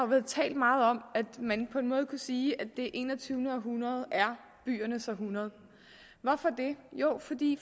været talt meget om at man på en måde kunne sige at det enogtyvende århundrede er byernes århundrede hvorfor det jo fordi